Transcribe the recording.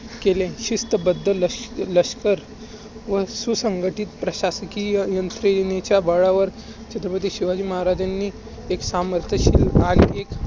केले. शिस्तबद्ध लष्कर व सुसंगतीत प्रशासकीय यंत्रणेच्या बळावर छत्रपती शिवाजी महाराजांनी एक सामर्थ केले